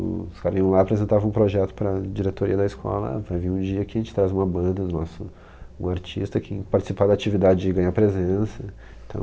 Se os caras vinham lá e apresentavam um projeto para a diretoria da escola, vai vir um dia que a gente traz uma banda, um artista que participar da atividade e ganhar presença, então...